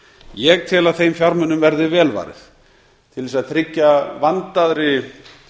ég tel að þeim fjármunum verði vel varið til að tryggja vandaðri